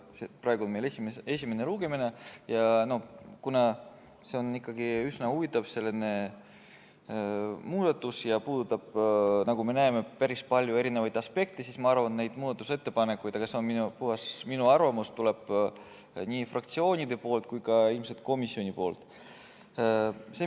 Praegu on meil esimene lugemine ja kuna see on ikkagi üsna huvitav muudatus ja puudutab, nagu me näeme, päris palju aspekte, siis ma arvan, et neid muudatusettepanekuid – see on puhtalt minu arvamus – tuleb nii fraktsioonide poolt kui ka ilmselt komisjonist.